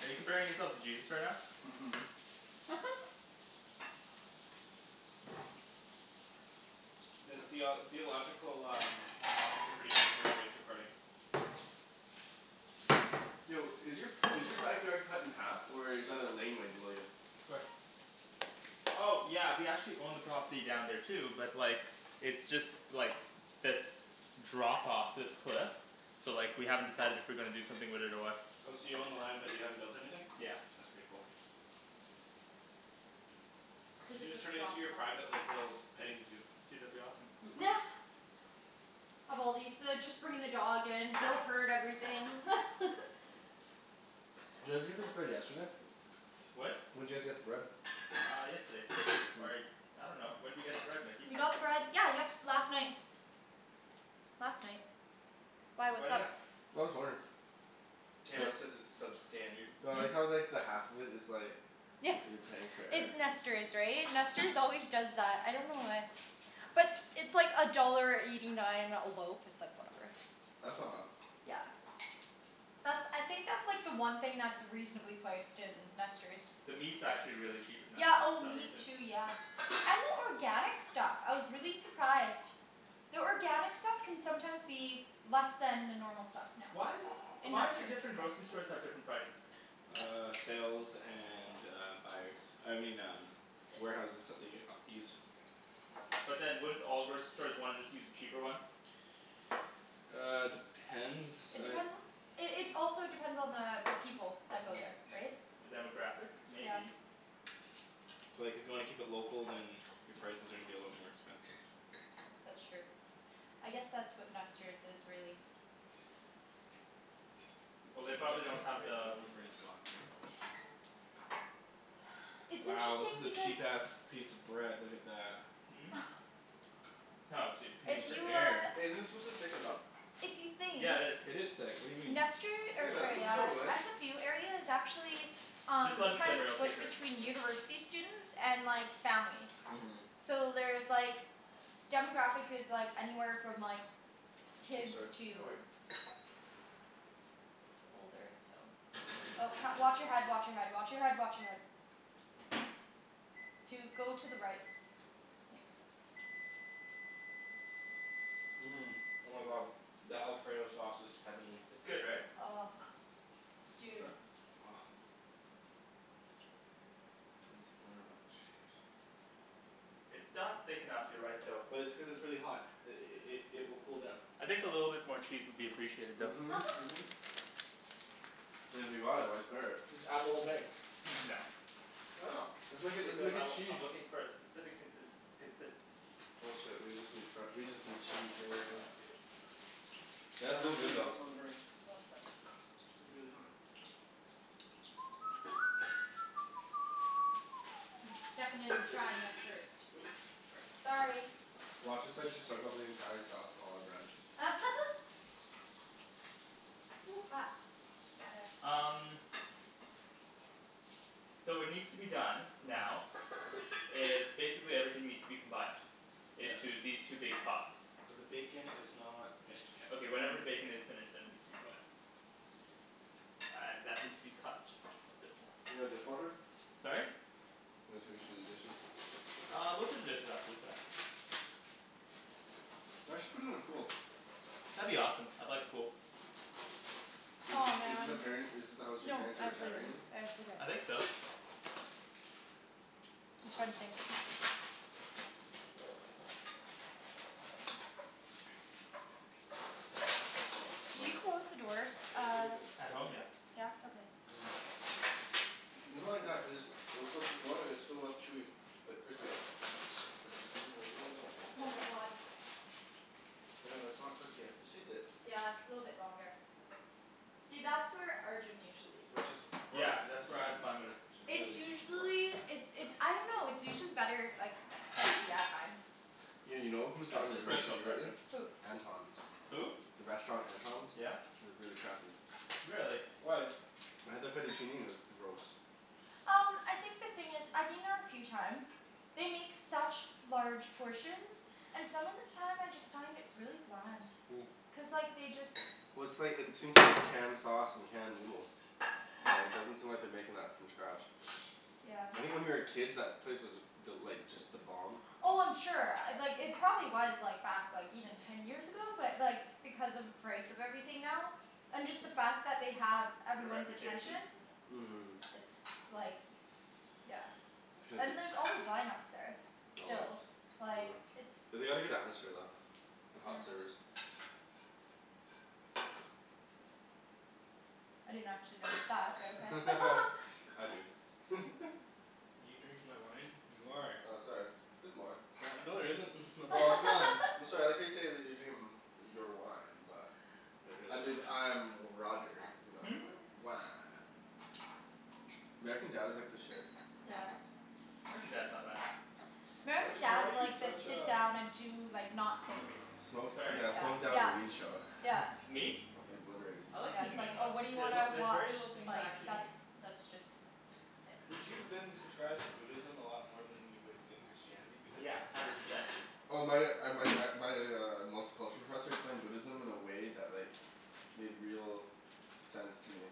Are you comparing yourself to Jesus right now? Mhm. Theo- theological, um topics are pretty good for a voice recording. Yo, is your is your backyard cut in half or is that a laneway below you? Where? Oh yeah, we actually own the property down there too, but like It's just, like this drop off, this cliff. So like, we haven't decided if we're gonna do something with it or what. Oh, so you own the land but you haven't built anything? Yeah. That's pretty cool. You Cuz should it just just turn it into drops your private off. like, little petting zoo. Dude, that'd be awesome. Of all these, uh just bringing the dog in, everything Did you guys get this bread yesterday? What? When'd you guys get the bread? Uh yesterday. Or I dunno. When'd we get the bread, Nikki? We got the bread, yeah yest- last night. Last night. Why, Why what's do you up? ask? I'm just wondering. Daniel says it's substandard. Well, I like Hmm? how like the half of it is like Yeah. you're paying for air. It's Nester's, right? Nester's always does that. I don't know why. But it's like a dollar eighty nine a loaf. It's like, whatever. That's not bad. Yeah. That's, I think that's like the one thing that's reasonably priced in Nester's. The meat's actually really cheap at Yeah, Nester's for oh some meat reason. too, yeah. And the organic stuff. I was really surprised. The organic stuff can sometimes be less than the normal stuff now. Why is In Why do Nester's. different grocery stores have different prices? Uh sales and uh buyers. I mean um warehouses that they uh use. But then wouldn't all grocery stores wanna just use the cheaper ones? Uh, depends, It I depends on It it's also depends on the people that go there. Right? The demographic? Yeah. Maybe. So like if you wanna keep it local, then Your prices are gonna be a little bit more expensive. That's true. I guess that's what Nester's is, really. Keep it Well at, they at probably don't have this we the don't wanna burn his pots, right? It's Wow, this interesting is a because cheap ass piece of bread. Look at that. Hmm? Oh dude Paying If for you air. uh Hey, isn't this supposed to thicken up? If you think Yeah it is. It is thick. What do you mean? Nester, Hey or man, what sorry are you uh, telling me Ryan? SFU area is actually Just Um let it simmer, it'll thicker. between university students and like, families. Mhm. So there's like demographic is like anywhere from like Oh kids sorry. No to worries. to older, so Oh wa- watch your head, watch your head, watch your head, watch your head. Dude go to the right. Thanks. Mmm. Oh my god. That alfredo sauce is heavenly. It's good right? Oh. Dude. Try? Gimme some more of that cheese. It's not thick enough, you're right though. But it's cuz it's really hot. I- i- i- it will cool down. I think a little bit more cheese would be appreciated though. Mhm. I mean if we bought it, why spare it? Just add the whole thing. No. Why not? Let's make a, let's Because make I a w- cheese. I'm looking for a specific contins- consistency. Bullshit, we just need fre- we just need cheese man. Nah dude. Oh no, you got some Yeah. on the burner. No it's fine. It'd be really hot. I'm stuffing it and trying it first. Oops, sorry. Sorry. Watch us like just soak up the entire sauce with all our bread. Ooh, hot. Gotta Um So what needs to be done, now is basically everything needs to be combined Yes. into these two big pots. But the bacon is not finished yet. Okay whenever the bacon is finished, then it needs to be combined. Uh and that needs to be cut a bit more. You got a dishwasher? Sorry? I was gonna say we should do the dishes. Uh we'll do the dishes after the sauce. You guys should put in a pool. That'd be awesome. I'd like a pool. Is Aw this is this the man. parent is this the house your No, parents are I retiring cleaned. in? It's okay. I think so. Something. I want a Can slice. you close the door, I uh don't think it that's At done home? yet. Yeah. Yeah? Okay. People like that cuz, they'll still put more and it's still enough chewy, but crispy though. I just wanna get it a little bit crispy. Oh my god. Daniel, that's not cooked yet. Just taste it. Yeah, little bit longer. See, that's where Arjan usually eats. Yeah Gross. cuz that's where I Which is It's really gross. usually, it's it's I dunno, it's usually better if like crispy, I find. Yeah, you know who's That's gotten his really personal shitty lately? preference. Who? Anton's. Who? The restaurant Anton's? Yeah? It was really crappy. Really? Why? I had the fettuccine and it was gross. Um I think the thing is, I've been there a few times. They make such large portions. And some of the time I just find it's really bland. Cuz like, they just Well it's like, it seems like it's canned sauce and canned noodle. Yeah, it doesn't seem like they're making that from scratch. Yeah. I think when we were kids that place was th- like, just the bomb. Oh I'm sure. Uh like it probably was like back like even ten years ago. But like, because of the price of everything now and just the fact that they have Their everyone's attention. reputation? Yeah. Mhm. It's like Yeah. It's gonna be And there's c- always line ups there. Always. Still. Like, it's They had a good atmosphere though. And Yeah. hot servers. I didn't actually notice that, but okay. I do. You drinking my wine? You are! Oh sorry. There's more. No there isn't. My is gone. I'm sorry, I like how you say that they're drinking m- your wine, but But I really, you believe dick. I'm Roger. Wah. American Dad is like the shit. Yeah. American Dad's not bad. American Arjan why are Dad's you like the such sit a down and do like, not think. Minimalist. Smoke, Sorry? yeah, smoke down Yeah. and weed show. Yeah. Me? Fuckin' obliterated. I like Yeah, being it's a like, oh minimalist. what do you There's a- wanna there's watch? very little It's things I like actually that's need. that's just Did you then subscribe to Buddhism a lot more than you would with Christianity? Because Yeah. then Hundred percent. Oh my uh my uh my uh multiculture professor explained Buddhism in a way that like made real sense to me.